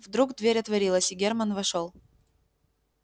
вдруг дверь отворилась и германн вошёл